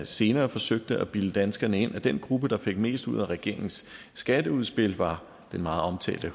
senere forsøgte at bilde danskerne ind at den gruppe der fik mest ud af regeringens skatteudspil var den meget omtalte